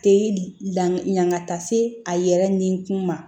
Te la yan ka taa se a yɛrɛ ni kun ma